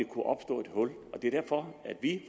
kunne opstå et hul det er derfor at vi